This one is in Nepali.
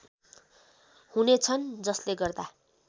हुनेछन् जसले गर्दा